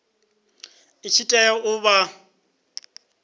i tshi tea u vha